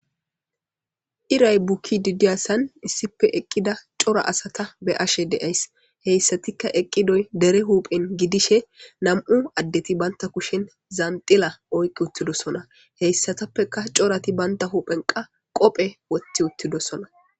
Irray bukid diyasan issippe eqida cora asata beyashe de'ays, hesatika eqidoy dere hupheni gidishe nam'u adeti banta kushen zanxila oyki utidosona hesatuppeka corati banta huphen qasi qophe wothi utidosona.